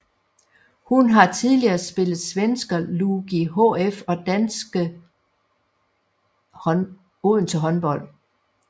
Hun har tidligere spillet i svensker Lugi HF og danske Odense Håndbold